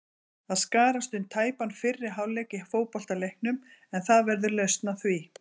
Það skarast um tæpan fyrri hálfleik í fótboltaleiknum en það verður lausn á því.